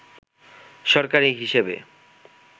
সরকারি হিসেবে